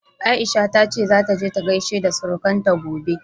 Aisha ta ce zata je ta gaishe da surukanta gobe.